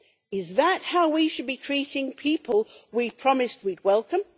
Is that how we should be treating people we promised we would welcome?